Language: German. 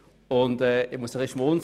Ich muss etwas schmunzeln.